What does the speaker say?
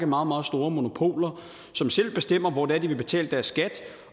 meget meget store monopoler som selv bestemmer hvor det er de vil betale deres skat